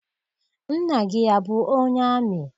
Nna gị abụ onye amị?